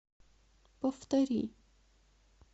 повтори